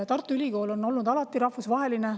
Tartu Ülikool on olnud alati rahvusvaheline.